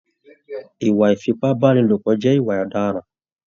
Ìwà ifipabanilopọ jẹ ìwà ọdaràn.